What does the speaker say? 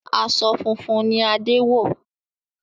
Aṣọ funfun ni Adé wọ̀